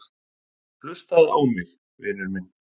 Hlustaðu á mig, vinur minn.